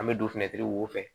An bɛ don wo fɛ